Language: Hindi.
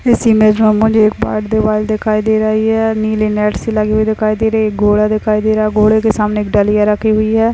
इस इमेज मे मुझे एक व्हाइट दीवार दिखाई दे रहा है और नीली नेट सी लगी हुई दिखाई देरी घोडा दिखाई दिखाई दे रहा घोड़े के सामने एक डलिया रखी हुई है।